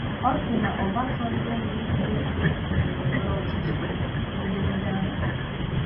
Ọ si na Obasanjo na-egwu egwuregwu ndọrọndọrọ ọchịchị n'edemede ahụ.